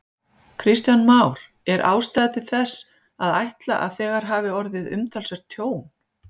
Kristján Már: Er ástæða til þess að ætla að þegar hafi orðið umtalsvert tjón?